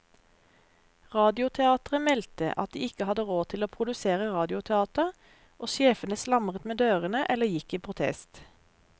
Radioteateret meldte at de ikke hadde råd til å produsere radioteater, og sjefene slamret med dørene eller gikk i protest.